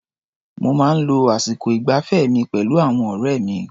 Mo máa ń lo àsìkò ìgbafẹ́ mi pẹ̀lú àwọn ọ̀rẹ́ mi.